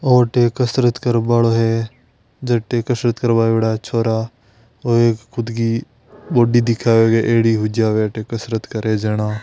ओ अठे एक कसरत करबालो है जटे कसरत करवा आयोड़ा छोरा ओ एक खुद की बॉडी दिखाओगे एडी हु जावे अठे कसरत करे जना।